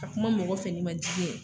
Ka kuma mɔgɔ fɛ n'i ma dimi